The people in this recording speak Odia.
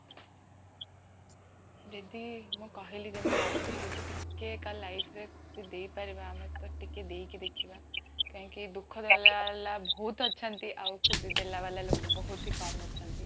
ଯେମିତି ମୁଁ କହିଲି ଯେମିତି ଆଗରୁ ଯଦି ଟିକେ କାହଁ life ରେ କିଛି ଦେଇ ପାରିବ ତ ଆମେ ଟିକେ ଦେଇକି ଦେଖିବା କହିଁକି ଦୁଃଖ ଦେଲା ଵାଲା ବହୁତ ଅଛନ୍ତି ଆଉ ଖୁସି ଦେଲା ଵାଲା ଲୋକବି ଭାତ ହିଁ କମ ଅଛନ୍ତି